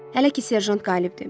Hələ ki serjant qalibdir.